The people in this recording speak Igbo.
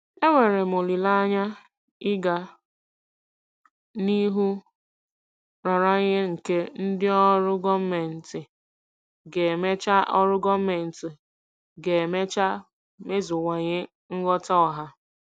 Enwere m olileanya ịga n'ihu nraranye nke ndị ọrụ gọọmentị ga-emecha ọrụ gọọmentị ga-emecha meziwanye nghọta ọha.